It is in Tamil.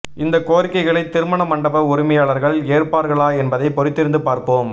இந்த கோரிக்கைகளை திருமண மண்டப உரிமையாளர்கள் ஏற்பார்களா என்பதை பொறுத்திருந்து பார்ப்போம்